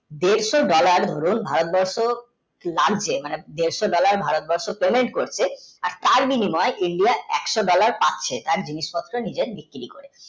দেড়শো dollar দরুন ভারতবর্ষ লাগছে মানে দেড়শো dollar pementh করছে ও তাঁর বিনিময় india একশো dollar পাচ্ছে তাঁর জিনিস পাত্র নিজের বিক্রি করে